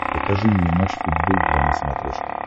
покажи мне матч футбол два на смотрешке